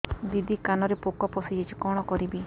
ଦିଦି କାନରେ ପୋକ ପଶିଯାଇଛି କଣ କରିଵି